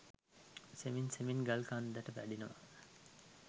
සෙමෙන් සෙමෙන් ගල් කන්දට වඩිනවා.